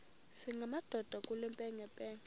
singamadoda kule mpengempenge